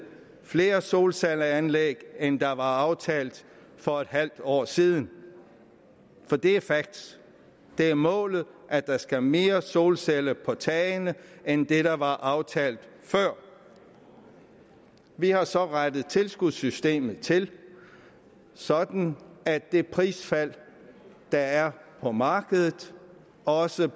flere solcelleanlæg end der var aftalt for et halvt år siden for det er facts det er målet at der skal mere solcelleenergi på tagene end det der var aftalt før vi har så rettet tilskudssystemet til sådan at det prisfald der er på markedet også